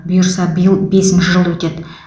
бұйырса биыл бесінші жыл өтеді